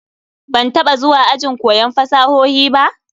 Ban taba zuwa ajin koyon fasahohi ba?